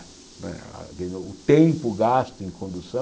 Não é a o o tempo gasto em condução...